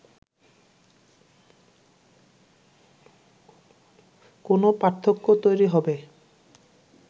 কোনো পার্থক্য তৈরি হবে